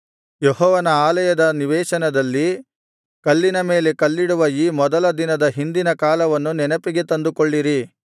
ಯೆಹೋವನ ಆಲಯದ ನಿವೇಶನದಲ್ಲಿ ಕಲ್ಲಿನ ಮೇಲೆ ಕಲ್ಲಿಡುವ ಈ ಮೊದಲ ದಿನದ ಹಿಂದಿನ ಕಾಲವನ್ನು ನೆನಪಿಗೆ ತಂದುಕೊಳ್ಳಿರಿ